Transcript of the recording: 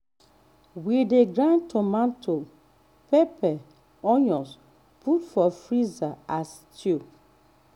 we dey grind tomato pepper onion put for freezer as stew